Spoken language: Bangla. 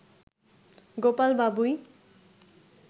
গোপাল বাবুই